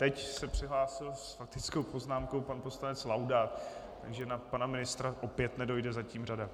Teď se přihlásil s faktickou poznámkou pan poslanec Laudát, takže na pana ministra opět nedojde zatím řada.